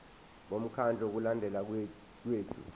bomkhandlu wokulondeka kwethu